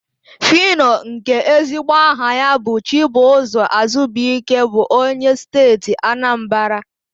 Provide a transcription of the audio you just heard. Fino, nke ezigbo aha ya bụ Chibụzọ Azubuike bụ onye Steeti Anambara.